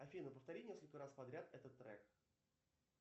афина повтори несколько раз подряд этот трек